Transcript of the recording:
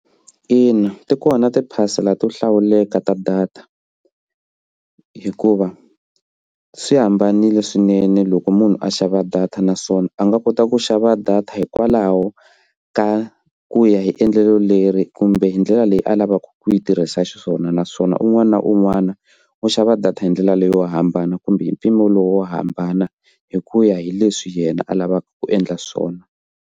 Ina, ti kona tiphasela to hlawuleka ta data hikuva swi hambanile swinene loko munhu a xava data naswona a nga kota ku xava data hikwalaho ka ku ya hi endlelo leri kumbe hi ndlela leyi a lavaka ku yi tirhisa xiswona naswona un'wana na un'wana u xava data hi ndlela leyo hambana kumbe hi mpimo lowu wo hambana hi ku ya hi leswi yena a lavaka ku endla swona.